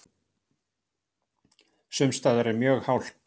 Sums staðar mjög hált